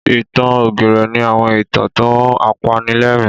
Ìtàn ògìrè ni àwọn ìtàn tó apanilẹ́rìn.